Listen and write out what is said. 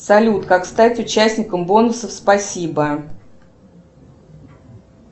салют как стать участником бонусов спасибо